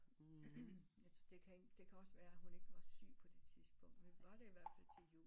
Men det kan også være hun ikke var syg på det tidspunkt vi var der ihvertfald til jul